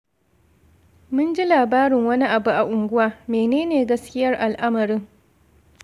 Mun ji labarin wani abu a unguwa. Menene gaskiyar al’amarin?